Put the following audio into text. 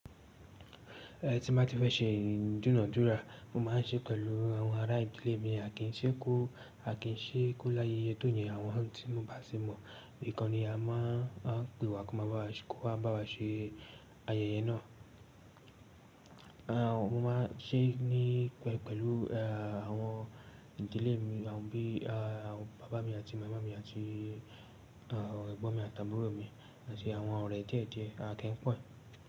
Ẹ̀ tí mo bá ti fẹ́ ṣe idunadúrà, mo máa ń ṣe pẹ̀lú àwọn ará ìdílé mi, àkíṣẹ́ kó àkíṣẹ́ kó láyé yétò yẹn, àwọn tí n ò bá ṣe mọ̀, nìkan ni a máa ń pè wá kó máa bá wa ṣe ayẹyẹ náà. Mo máa ń ṣe ní pẹ̀lú àwọn ìdílé mi, àwọn bí i àwọn bàbá mi àti màmá mi àti àwọn ẹgbọ́n mi àti àbúrò mi àti àwọn ọ̀rẹ́ díẹ̀díẹ̀, à kí n pọ̀.